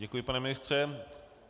Děkuji, pane ministře.